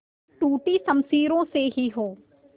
टूटी शमशीरों से ही हो